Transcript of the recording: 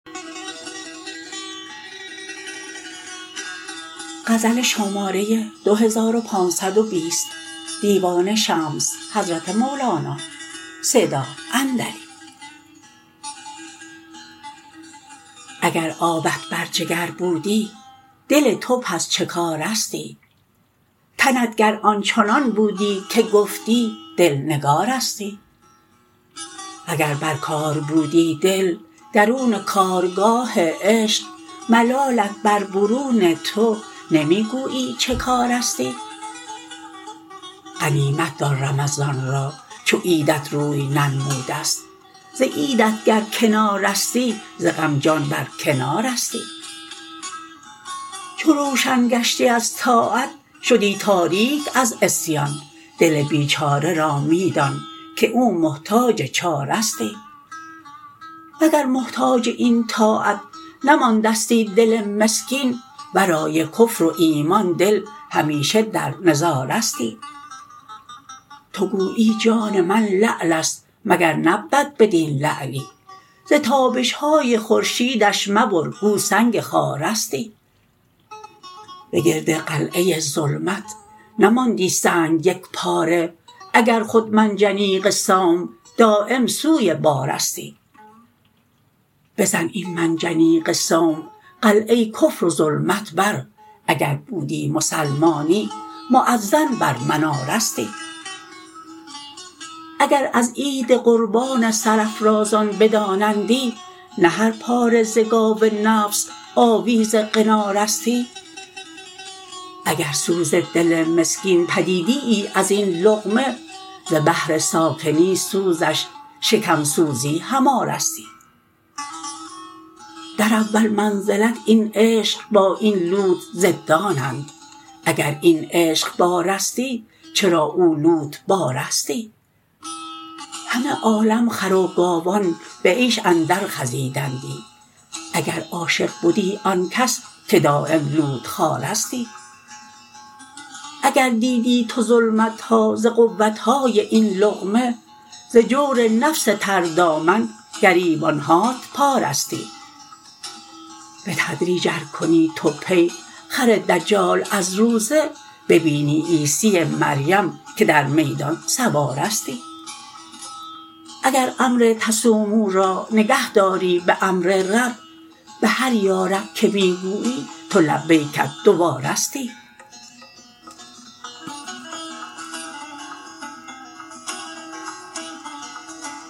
گر آبت بر جگر بودی دل تو پس چه کاره ستی تنت گر آن چنان بودی که گفتی دل نگاره ستی وگر بر کار بودی دل درون کارگاه عشق ملالت بر برون تو نمی گویی چه کاره ستی غنیمت دار رمضان را چو عیدت روی ننموده ست و عیدت گر کنارستی ز غم جان برکناره ستی چو روشن گشتی از طاعت شدی تاریک از عصیان دل بیچاره را می دان که او محتاج چاره ستی وگر محتاج این طاعت نماندستی دل مسکین ورای کفر و ایمان دل همیشه در نظاره ستی تو گویی جان من لعل است مگر نبود بدین لعلی ز تابش های خورشیدش مبر گو سنگ خاره ستی به گرد قلعه ظلمت نماندی سنگ یک پاره اگر خود منجنیق صوم دایم سوی باره ستی بزن این منجنیق صوم قلعه کفر و ظلمت بر اگر بودی مسلمانی مؤذن بر مناره ستی اگر از عید قربان سرافرازان بدانندی نه هر پاره ز گاو نفس آویز قناره ستی اگر سوز دل مسکین بدیدییی از این لقمه ز بهر ساکنی سوزش شکم سوزی هماره ستی در اول منزلت این عشق با این لوت ضدانند اگر این عشق باره ستی چرا او لوت باره ستی همه عالم خر و گاوان به عیش اندرخزیدندی اگر عاشق بدی آن کس که دایم لوت خواره ستی اگر دیدی تو ظلمت ها ز قوت های این لقمه ز جور نفس تردامن گریبان هات پاره ستی به تدریج ار کنی تو پی خر دجال از روزه ببینی عیسی مریم که در میدان سواره ستی اگر امر تصوموا را نگهداری به امر رب به هر یا رب که می گویی تو لبیکت دوباره ستی